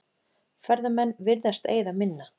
Ferðamenn virðast eyða minna